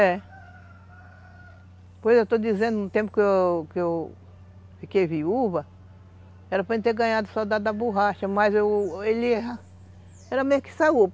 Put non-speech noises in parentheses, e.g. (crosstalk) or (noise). É. Pois eu estou dizendo, no tempo que eu que eu fiquei viúva, era para ele ter ganhado só da borracha, mas ele era mesmo que (unintelligible)